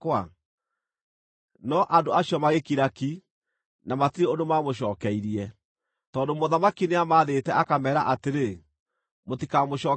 No andũ acio magĩkira ki, na matirĩ ũndũ maamũcookeirie, tondũ mũthamaki nĩamathĩte, akameera atĩrĩ, “Mũtikamũcookerie ũndũ.”